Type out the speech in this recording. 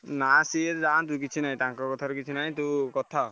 ନାଇଁ ସିଏ ଯାନ୍ତି ସିଏ ଯାନ୍ତୁ ତାଙ୍କ କଥା ରେ କିଛି ନାହିଁ ତୁ କଥା ହ।